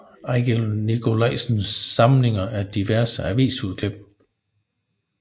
Ejgil Nikolajsens Samling af diverse avisudklip